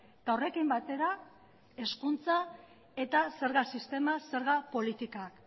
eta horrekin batera hezkuntza eta zerga sistema zerga politika